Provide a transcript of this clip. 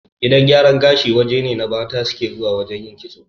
Gidan gyaran gashi waje ne da mata suke zuwa yin kitso